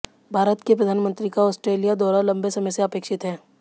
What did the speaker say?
भारत के प्रधानमंत्री का ऑस्ट्रेलिया दौरा लंबे समय से अपेक्षित है